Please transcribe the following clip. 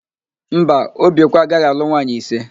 Mba, Obiekwe agaghị alụ nwaanyị ise.